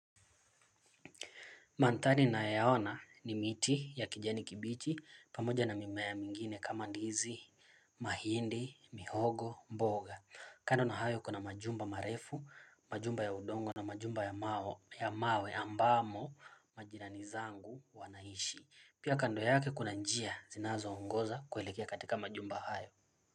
Mandhari ninayo yaona ni miti ya kijani kibichi pamoja na mimea mingine kama ndizi, mahindi, mihogo, mboga. Kando na hayo kuna majumba marefu, majumba ya udongo na majumba ya mawe ambamo majirani zangu wanaishi. Pia kando yake kuna njia zinazo ongoza kuhelekea katika majumba hayo.